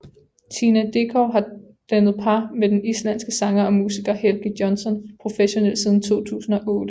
Tina Dickow har dannet par med den islandske sanger og musiker Helgi Jónsson professionelt siden 2008